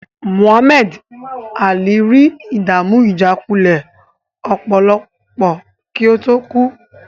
Muhammad Alli rí ìdàmú ìjákulẹ̀ ọpọlọ kí ó tó kú.